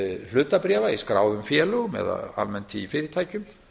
hlutabréfa í skráðum félögum eða almennt í fyrirtækjum